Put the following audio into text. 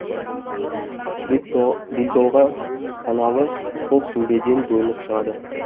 белтоған каналы сол сүмбеден бөлініп шығады